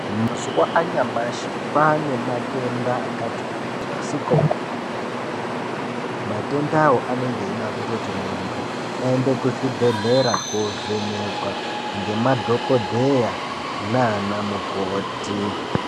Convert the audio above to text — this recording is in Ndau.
Mazuwa anyamashi kwane matenda akati kuti asikaoneki. Matendawo anenge eida kuti muntu aende kuzvibhehlera kovhenekwa ngemadhokodheya nana mukoti.